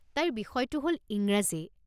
তাইৰ বিষয়টো হ'ল ইংৰাজী।